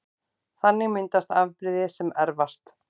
Þannig myndast afbrigði sem erfast